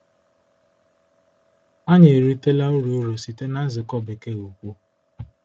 Anyị erutela uru uru site na nzukọ Bekee ukwu.